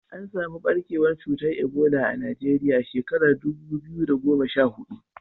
An samu ɓarkewar cutar Ebola a Najeriya a shekarar dubu biyu da goma sha hudu.